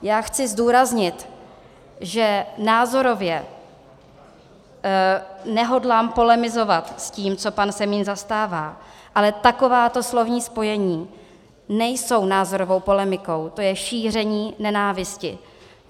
Já chci zdůraznit, že názorově nehodlám polemizovat s tím, co pan Semín zastává, ale takováto slovní spojení nejsou názorovou polemikou, to je šíření nenávisti.